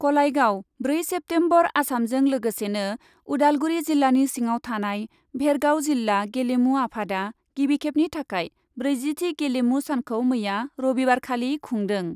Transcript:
कलाइगाव, ब्रै सेप्तेम्बर, आसामजों लोगोसेनो उदालगुरि जिल्लानि सिङाव थानाय भेरगाव जिल्ला गेलेमु आफादआ गिबिखेबनि थाखाय ब्रैजिथि गेलेमु सानखौ मैया रबिबारखालि खुंदों ।